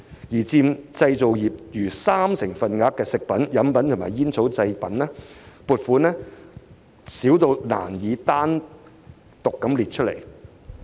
反觀佔製造業逾三成份額的"食品、飲品及煙草製造"，所得撥款卻低至未有單項列出。